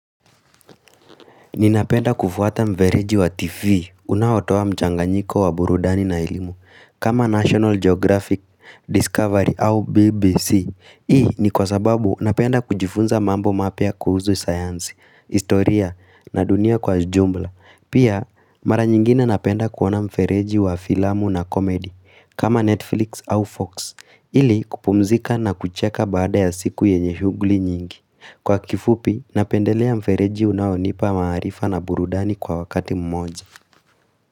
Ninapenda kufuata mfereji wa TV, unaotoa mchanganyiko wa burudani na elimu, kama National Geographic, Discovery au BBC. Hii ni kwa sababu napenda kujifunza mambo mapya kuhusu science, historia na dunia kwa jumla. Pia, mara nyingine napenda kuona mfereji wa filamu na komedi, kama Netflix au Fox, ili kupumzika na kucheka baada ya siku yenye shughuli nyingi. Kwa kifupi, napendelea mfereji unaonipa maarifa na burudani kwa wakati mmoja.